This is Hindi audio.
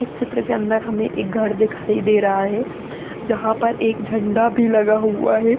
इस चित्र के अंदर हमें एक घर दिखाई दे रहा है जहां पर एक झंडा भी लगा हुआ है।